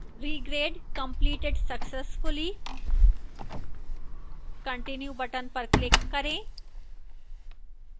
आप एक संदेश देखेंगे regrade completed successfully continue button पर क्लिक करें